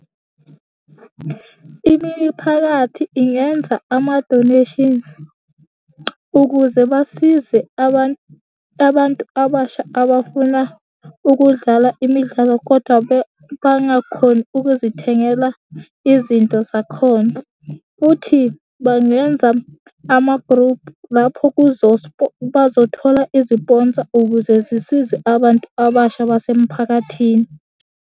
Imiphakathi ingenza amadoneshinzi ukuze basize abantu, abantu abasha abafuna ukudlala imidlalo, kodwa bangakhoni ukuzithengela izinto zakhona, futhi bangenza amagruphu lapho bazothola iziponsa ukuze zisize abantu abasha basemphakathini.